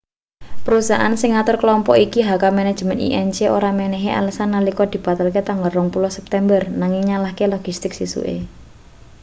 perusahaan sing ngatur klompok iki hk manajemen inc ora menehi alesan nalika dibatalke tanggal 20 september nanging nyalahke logistik sesuke